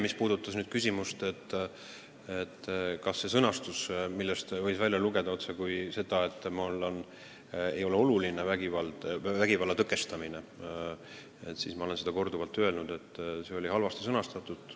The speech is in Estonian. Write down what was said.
Mis puudutab küsimust, kas sellest sõnastusest võis välja lugeda seda, et vägivalla tõkestamine ei ole minu arvates oluline, siis ma olen seda korduvalt öelnud, et see avaldus oli halvasti sõnastatud.